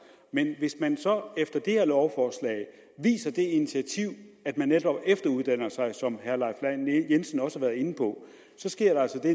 men hvis man så viser det initiativ at man netop efteruddanner sig som herre leif lahn jensen også har været inde på sker der altså